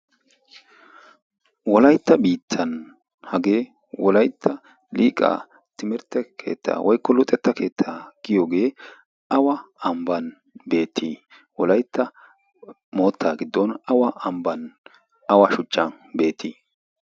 wolaitta biittan hagee wolaitta liiqa timertte keettaa waikolu xetta keettaa giyoogee awa ambban beetii wolaitta mootta giddon awa ambban awa shuchcha beetii?